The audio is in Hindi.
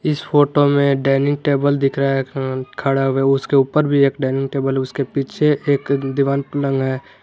इस फोटो में डाइनिंग टेबल दिख रहा हैं खड़ा हुआ है उसके ऊपर भी एक डाइनिंग टेबल उसके पीछे एक दिवांग टंगा है।